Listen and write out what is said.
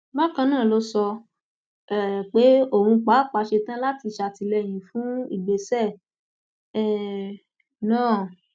bákan náà ló sọ um pé òun pàápàá ṣetán láti ṣàtìlẹyìn fún ìgbésẹ um náà